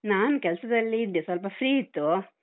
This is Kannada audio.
ನಾನ್ ಕೆಲ್ಸದಲ್ಲಿ ಇದ್ದೆ. ಸ್ವಲ್ಪ free ಇತ್ತು.